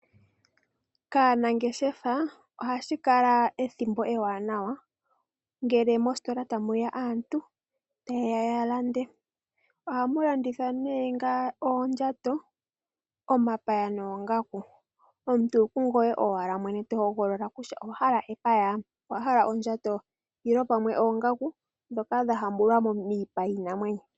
Kaanangeshefa ohashi kala ethimbo ewanawa ngele mositola tamu ya aantu tayeya ya lande. Ohamu landithwa nee oondjato, omapaya noongaku. Omuntu okungoye owala mwene to hogolola kutya owa hala epaya? owa hala ondjato? nenge pamwe oongaku ndhoka dha hambulwa miipa yiinamwenyo.